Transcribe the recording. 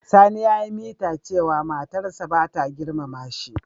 Sani ya yi mita cewa matar sa bata girmama shi.